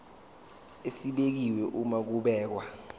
esibekiwe uma kubhekwa